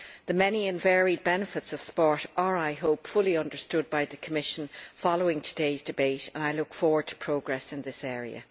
The many and varied benefits of sport are, I hope, fully understood by the Commission following today's debate, and I look forward to progress in this area.